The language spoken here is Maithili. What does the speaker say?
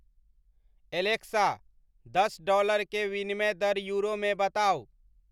एलेक्सा दस डॉलर के विनिमय दर यूरो में बताउ